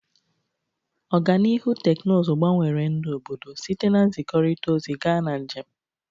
Ọganihu teknụzụ gbanwere ndụ obodo, site na nzikọrịta ozi gaa na njem.